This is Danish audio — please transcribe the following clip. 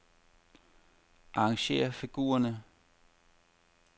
Arrangér figurerne.